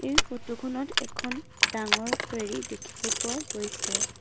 এই ফটোখনত এখন ডাঙৰ ফেৰী দেখিব পোৱা গৈছে।